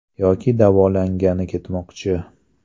Yoki davolangani ketmoqchi.